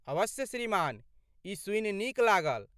अवश्य श्रीमान, ई सूनि नीक लागल।